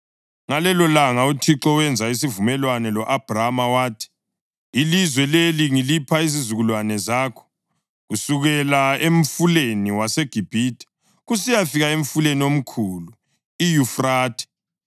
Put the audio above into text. Ngalelolanga uThixo wenza isivumelwano lo-Abhrama wathi, “Ilizwe leli ngilipha izizukulwane zakho, kusukela emfuleni waseGibhithe kusiyafika emfuleni omkhulu, iYufrathe,